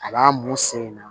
A b'a mun sen in na